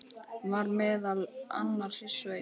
Var meðal annars í sveit.